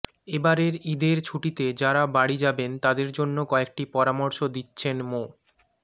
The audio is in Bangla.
এবারের ঈদের ছুটিতে যারা বাড়ি যাবেন তাদের জন্যে কয়েকটি পরামর্শ দিচ্ছেনমো